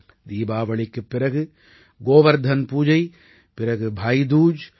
தீபாவளிக்குப் பிறகு கோவர்த்தன் பூஜை பிறகு பாயி தூஜ்